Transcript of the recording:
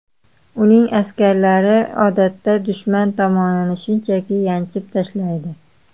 Uning askarlari odatda dushman tomonni shunchaki yanchib tashlaydi.